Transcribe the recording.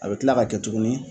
A bɛ tila ka kɛ tuguni